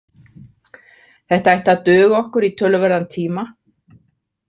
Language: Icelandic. Þetta ætti að duga okkur í töluverðan tíma